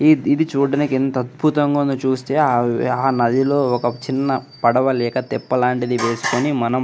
ఈద్ ఇది చూడడానికి ఎంత అద్భుతంగా ఉంది చుస్తే ఆవ్ ఆహ్ అన్నది దీనిలో ఒక చిన్న పడవ లేక తెప్పలాంటిది వేసుకొని మనం.